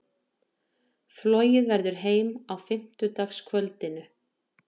Flogið verður heim á fimmtudagskvöldinu.